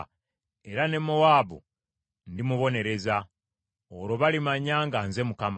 era ne Mowaabu ndimubonereza. Olwo balimanya nga nze Mukama .’”